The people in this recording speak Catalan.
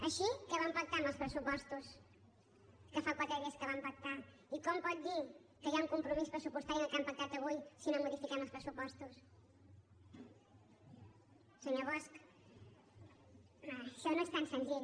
així què van pactar amb els pressupostos que fa quatre dies que van pactar i com pot dir que hi ha un compromís pressupostari en el que han pactat avui si no modifiquem els pressupostos senyor bosch això no és tan senzill